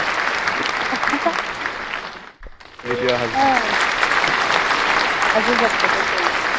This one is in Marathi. आसू शकत तसही